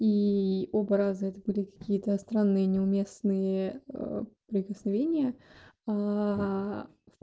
и оба раза это были какие-то странные неуместные прикосновения